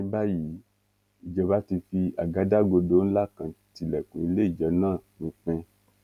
ní báyìí ìjọba ti fi àgádágodo ńlá kan tilẹkùn ilé ijó náà pinpin